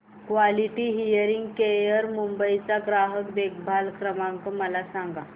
quality hearing care Mumbai चा ग्राहक देखभाल क्रमांक मला सांगा